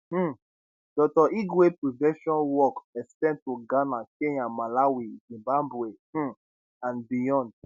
um dr igwe prevention work ex ten d to ghana kenya malawi zimbabwe um and beyond